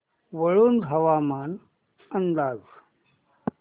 वाळूंज हवामान अंदाज